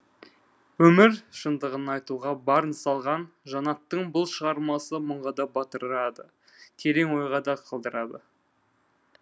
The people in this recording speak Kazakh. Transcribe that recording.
өмір шындығын айтуға барын салған жанаттың бұл шығармасы мұңға да батырады терең ойға да қалдырады